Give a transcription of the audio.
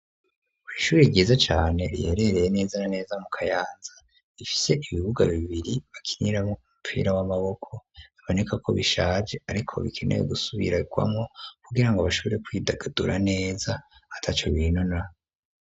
Kw'ishuri ryiza cane riherereye neza na neza mu Kayanza rifise ibibuga bibiri bakiniramwo umupira w'amaboko biboneka ko bishaje ariko bikenewe gusubirwamwo kugirango bashobore kwidagadura neza ataco binona.